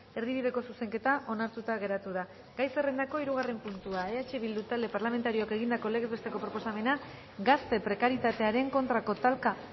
erdibideko zuzenketa onartuta geratu da gai zerrendako hirugarren puntua eh bildu talde parlamentarioak egindako legez besteko proposamena gazte prekarietatearen kontrako talka